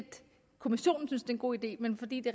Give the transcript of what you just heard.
kommissionen synes det er en god idé men fordi det